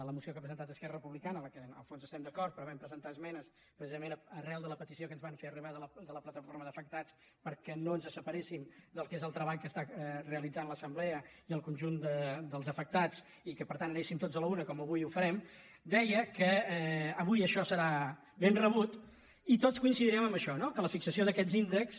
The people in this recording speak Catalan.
la moció que ha presentat esquerra republicana amb la qual en el fons estem d’acord però hi vam pre·sentar esmenes precisament arran de la petició que ens van fer arribar de la plataforma d’afectats perquè no ens separéssim del que és el treball que realitza l’assemblea i el conjunt dels afectats i que per tant anéssim tots a la una com avui ho farem deia que avui això serà ben rebut i tots coincidirem en això no que la fixació d’aquests índexs